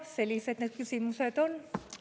Sellised need küsimused on.